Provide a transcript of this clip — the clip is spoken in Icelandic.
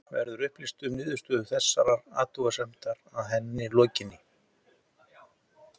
Verður upplýst um niðurstöðu þessarar athugunar að henni lokinni?